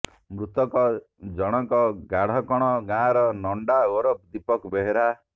ମୃତକ ଜଣକ ଗାଢକଣ ଗାଁର ନଣ୍ଡା ଓରଫ ଦୀପକ ବେହେରା